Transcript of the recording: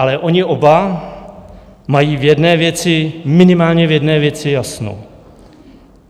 Ale oni oba mají v jedné věci, minimálně v jedné věci, jasno.